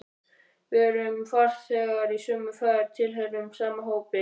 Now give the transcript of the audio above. Við erum farþegar í sömu ferð, tilheyrum sama hópi.